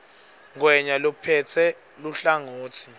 ngwenya lophetse luhlangotsi